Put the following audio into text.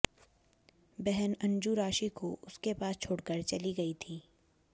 बहन अंजू राशि को उसके पास छोड़कर चली गई थीं